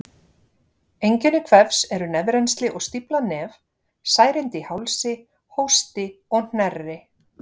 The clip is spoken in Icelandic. Einkenni kvefs eru nefrennsli og stíflað nef, særindi í hálsi, hósti og hnerri.